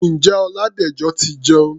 Ǹjẹ́ Ọládẹ̀jọ ti jẹun?